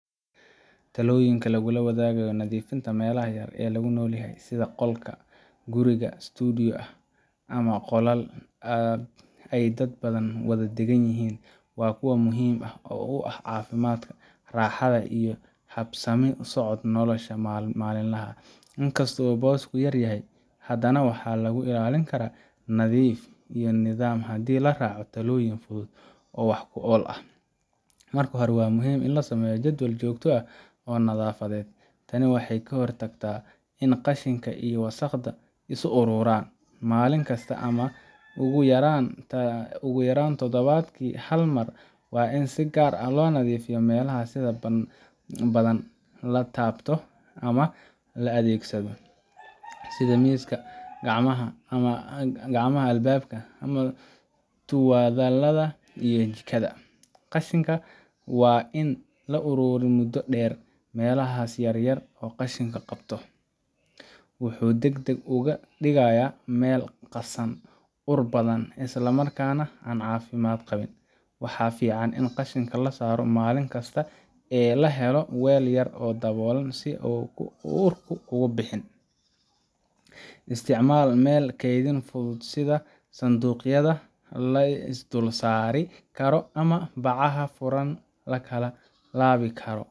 Talooyinka lagula tacaalayo nadiifinta meelaha yar ee lagu noolyahay sida qol yar, guri studio ah, ama qolal ay dad badan wada deggan yihiin waa kuwo muhiim u ah caafimaadka, raaxada iyo habsami u socodka nolosha maalinlaha ah. Inkastoo boosku yar yahay, haddana waxaa lagu ilaalin karaa nadiif iyo nidaam haddii la raaco talooyin fudud oo wax ku ool ah: Marka hore, waa muhiim in la sameeyo jadwal joogto ah oo nadaafadeed. Tani waxay ka hortagtaa in qashinka iyo wasakhda is uruuraan. Maalin kasta ama ugu yaraan toddobaadkii hal mar waa in si gaar ah loo nadiifiyaa meelaha sida badan la taabto ama la adeegsado: sida miiska, gacmaha albaabka, tuwaalada, iyo jikada. Qashinka waa in aan la uruurin muddo dheer. Meelaha yar yar marka qashinku bato, wuxuu degdeg uga dhigayaa meel qasan, ur badan, isla markaana aan caafimaad qabin. Waxaa fiican in qashinka la saaro maalin kasta ee la helo weel yar oo daboolan si aan urku uga bixin. Isticmaalka meel kaydin fudud sida sanduuqyada la is dul saari karo ama bacaha furan la kala laabi karo.